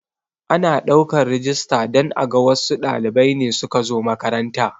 Ana ɗaukan rijista don aga wassu ɗalibai ne suka zo makaranta